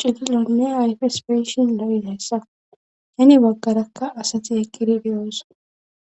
cigilonne hayfespeyishin la7i dayssa yani baggarakka asati eqqiri deyoosa